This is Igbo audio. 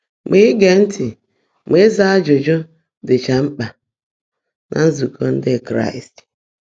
Mà íge ntị́ mà ị́zá ájụ́jụ́ ḍị́chá mkpã ná nzụ́kọ́ Ndị́ Kráịst